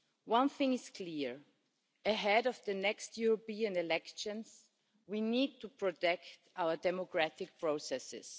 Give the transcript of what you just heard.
One thing is clear ahead of the next European elections, we need to protect our democratic processes.